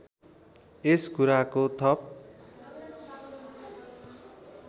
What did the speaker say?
यस कुराको थप